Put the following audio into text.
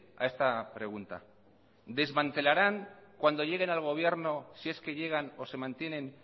a esta pregunta desmantelaran cuando lleguen al gobierno si es que llegan o se mantienen